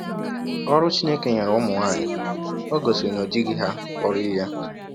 Ọrụ Chineke nyere ụmụ nwaanyị ò gosiri na o jighị ha kpọrọ ihe a?